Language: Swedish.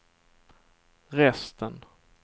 resten